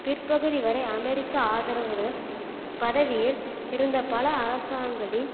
பிற்பகுதி வரை அமெரிக்க ஆதரவுடன் பதவியில் இருந்த பல அரசாங்களின்